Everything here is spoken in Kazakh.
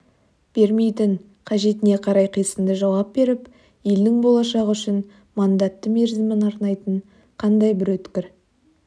бермейтін қажетіне қарай қисынды жауап беріп елдің болашағы үшін мандатты мерзімін арнайтын қандай бір өткір